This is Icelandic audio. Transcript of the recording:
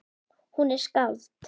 Hún er skáld.